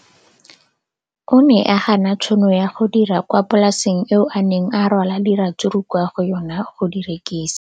O ne a gana tšhono ya go dira kwa polaseng eo a neng rwala diratsuru kwa go yona go di rekisa.